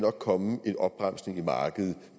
komme en opbremsning i markedet